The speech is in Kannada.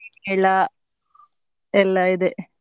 ಎಲ್ಲ ಎಲ್ಲ ಇದೆ